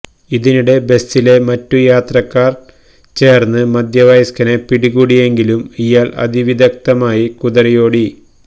ഇതിനിടെ ബസിലെ മറ്റു യാത്രക്കാര് ചേര്ന്ന് മധ്യവയസ്കനെ പിടികൂടിയെങ്കിലും ഇയാള് അതിവിദഗ്ധമായി കുതറിയോടി